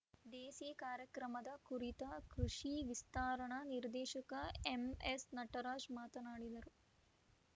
ದೇಸಿ ಕಾರ್ಯಕ್ರಮದ ಕುರಿತ ಕೃಷಿ ವಿಸ್ತರಣಾ ನಿರ್ದೇಶಕ ಎಂಎಸ್‌ ನಟರಾಜ ಮಾತನಾಡಿದರು